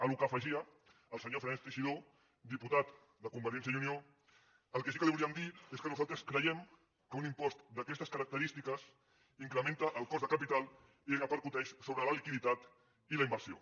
a la qual cosa afegia el senyor fernández teixidó diputat de convergència i unió el que sí que li volíem dir és que nosaltres creiem que un impost d’aquestes característiques incrementa el cost de capital i repercuteix sobre la liquiditat i la inversió